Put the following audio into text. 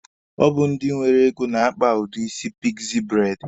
Ọ bụ ndị nwere ego na-akpa udi isi pikzi braidi.